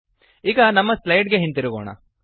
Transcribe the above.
ಈಗ ನಮ್ಮ ಸ್ಲೈಡ್ ಗೆ ಹಿಂದಿರುಗೋಣ